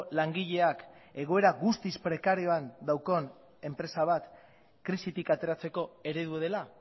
langileak egoera guztiz prekarioan daukan enpresa bat krisitik ateratzeko eredu dela